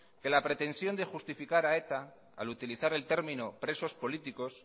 que la pretensión de justificar a eta al utilizar el término presos políticos